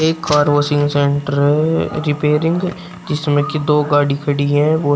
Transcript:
एक car washing centre repairing जिसमें कि दो गाड़ी खड़ी है बहुत--